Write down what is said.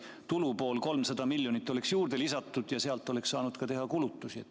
Kui tulupoolele oleks 300 miljonit juurde lisatud, siis selle varal oleks saanud ka teha kulutusi.